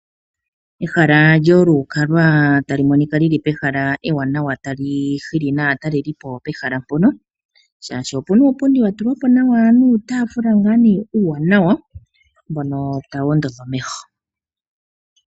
Ehala lyolukalwa tali monika li li pehala ewanawa tali hili naatalelipo pehala mpoka, oshoka opu na uupundi wa tulwa nawa nuutaafula uuwanawa mbono tawu ondodha omeho.